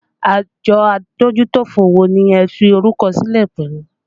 Àjọ adójútòfò wo ni ẹ fi orúkọ sílẹ̀ pẹ̀lú?